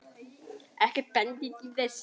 Ekkert bendir til þess.